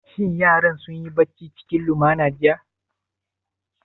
Shin yaran sun yi bacci cikin lumana jiya?